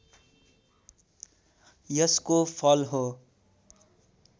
यसको फल हो